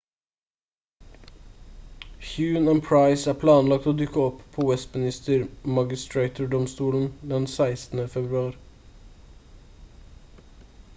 huhne og pryce er planlagt å dukke opp på westminster magistrater-domstolen den 16. februar